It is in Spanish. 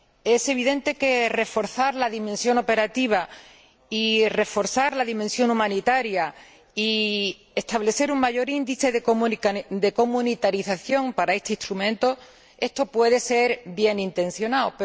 Es evidente que reforzar la dimensión operativa, reforzar la dimensión humanitaria y establecer un mayor índice de comunitarización para este instrumento puede ser bienintencionado.